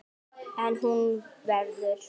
En hún verður.